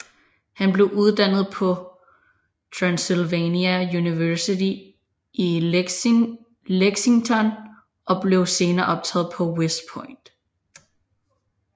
Han blev uddannet på Transylvania University i Lexington og blev senere optaget på West Point